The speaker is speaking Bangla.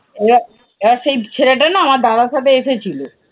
এবার এবার সেই ছেলেটা না আমার দাদার সাথে এসেছিলো।